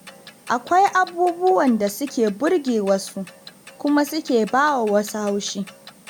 Akwai abubuwan da suke burge wasu kuma suke bawa wasu haushi